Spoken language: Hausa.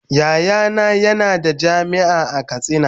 Yayana yana da jami'a a katsina.